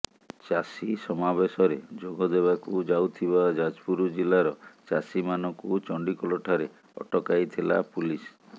ଚାଷୀ ସମାବେଶରେ ଯୋଗଦେବାକୁ ଯାଉଥିବା ଯାଜପୁର ଜିଲ୍ଲାର ଚାଷୀମାନଙ୍କୁ ଚଣ୍ଡିଖୋଲଠାରେ ଅଟକାଇଥିଲା ପୁଲିସ୍